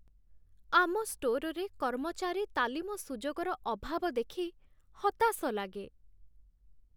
ଆମ ଷ୍ଟୋରରେ କର୍ମଚାରୀ ତାଲିମ ସୁଯୋଗର ଅଭାବ ଦେଖି ହତାଶ ଲାଗେ।